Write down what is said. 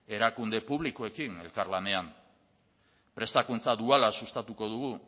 erakunde publikoekin elkarlanean prestakuntza duala sustatuko dugu